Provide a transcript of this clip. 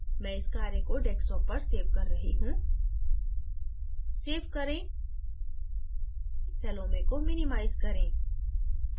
मैं इस कार्य को desktop पर सेव कर रही हूँ save करें salome को minimize करें